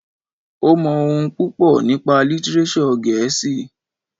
Ó mọ ohun púpọ̀ nípa lítírésọ̀ gẹ̀ẹ́sì.